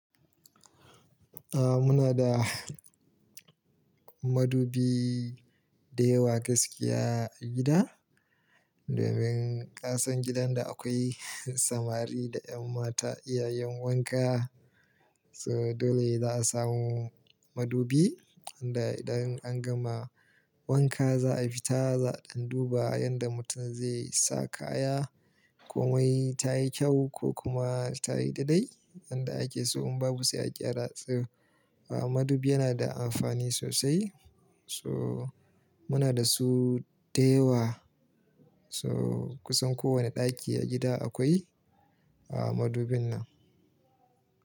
Ah, muna da madubi da yawa gaskiya a gida, domin kasan gidan da akwai samari da ƴan mata iyayen wanka. So dole za a samu madubi, inda idan an gama wanka za a fita za'a ɗan duba yanda mutum zai sa kaya komai ta yi kyau ko kuma ta yi daidai. Inda ake so in babu sai a gyra su ah. Madubi yana da amfani sosai, so muna da su da yawa. So kusan kowane ɗaki a gida akwai a madubin nan.